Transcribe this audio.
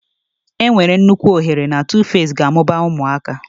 Enwere m nnukwu ohere na Tuface ga-amụba ụmụaka.